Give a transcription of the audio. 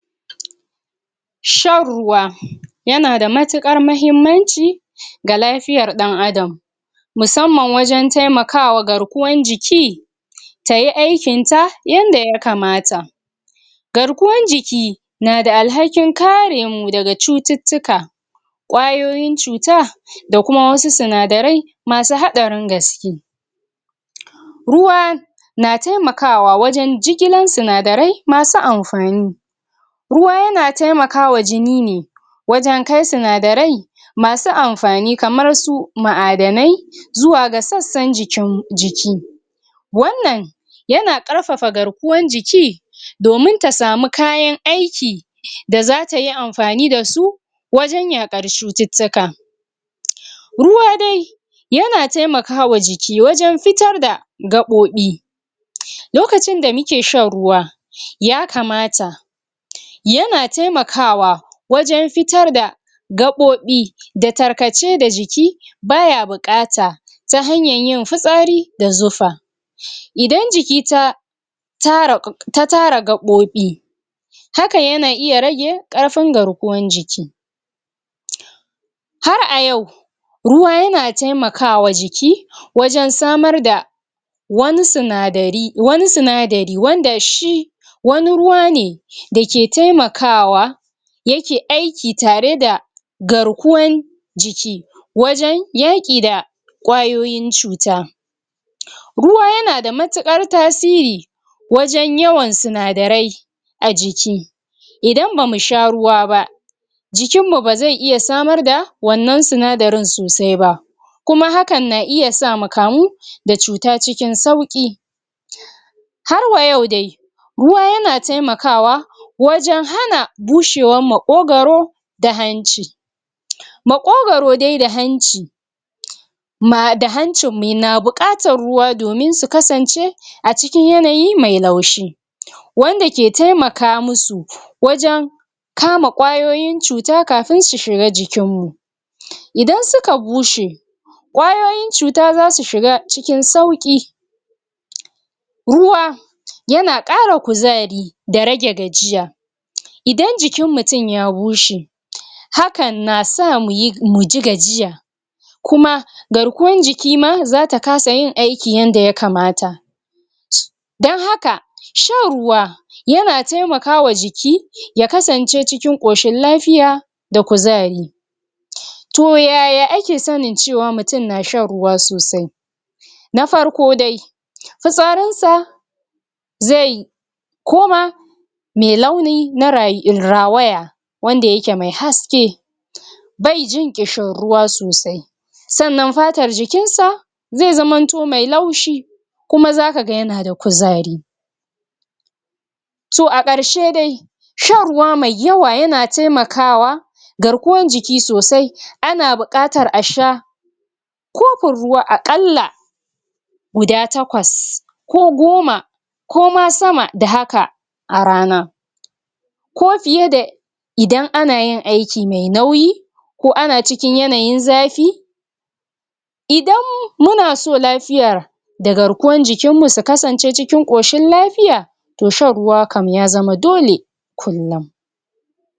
shan ruwa yana da matuƙar mahimmanci ga lafiyar ɗan adam musamman wajan taimakawa garkuwan jiki tayi aikin ta yanda ya kamata garkuwan jiki nada alhakin karemu daga cututtuka ƙwayoyin cuta da kuma wasu sinadarai masu haɗarin gaske ruwa na taimakawa wajen jigilan sinadarai masu amfani ruwa yana taimakawa jini ne wajen kai sinadarai masu amfani kamar su ma'adanai zuwa ga sassan jikin jik wannan yana ƙarfafa garkuwan jiki domin ta samu kayan aiki da zatayi amfani dasu wajen yaƙar cututtuka ruwa dai yana taimakama jiki wajen fitar da gaɓoɓi lokacin da muke shan ruwa ya kamata yana taimakawa wajen fitar da gaɓoɓi da tarkace da jiki baya buƙata ta hanyan yin futsari da zufa idan jiki ta ta tara ta tara gaɓoɓi hakan yana iya rage ƙarfin garkuwan jiki har a yau ruwa yana taimakawa jiki wajen samar da wani sinadari wani sinadari wanda shi wani ruwa ne dake taimakawa yake aiki tareda garkuwan jiki wajen yaƙi da ƙwayoyin cuta ruwa yanada matuƙar tasiri wajen yawan sinadarai a jiki. idan bamu sha ruwa ba jikin mu bazai iya samar da wannan sinadarin sosai ba kuma hakan na iya sa mu kamu da cuta cikin sauƙi. har wayau dai ruwa yana taimakawa wajen hana bushewar maƙogaro da hanci. maƙogaro dai da hanci ma da hancin mu na buƙatar ruwa domin su kasance a cikin yanayi mai laushi wanda ke taimaka musu wajen kama ƙwayoyin cuta kafin su shiga jikin mu idan suka bushe ƙwayoyin cuta zasu shiga cikin sauƙi ruwa yana ƙara kuzari da rage gajiya idan jikin mutum ya bushe hakan nasa muyi muji gajiya kuma garkuwan jikima zata kasa yin aiki yanda ya kamata dan haka shan ruwa yana taimakawa jiki ya kasance cikin ƙoshin lafiya da kuzari. to yaya ake sanin cewa mutum na shan ruwa sosai? na farko dai fitsarin sa zai koma mai launi mara rawaya wanda yake mai haske bai jin ƙishin ruwa sosai sannan fatar jikin sa zai zamanto mai laushi kuma zakaga yanada kuzari. to a ƙarshe dai shan ruwa mai yawa yana taimakwa garkuwan jiki sosai ana buƙatar a sha kofin ruwa a ƙalla guda takwas ko goma koma sama da haka a rana. ko fiye da idan anayin aiki mai nauyi ko ana cikin yanayin zafi idan munaso lafiyar da garkuwar jikin mu su kasance cikin ƙoshin lafiya to shan ruwa kam ya zama dole kullun.